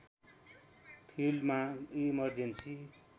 फिल्डमा इमर्जेन्सी